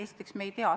Esiteks me ei tea seda.